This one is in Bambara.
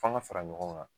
F'an ka fara ɲɔgɔn kan